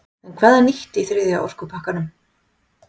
En hvað er nýtt í þriðja orkupakkanum?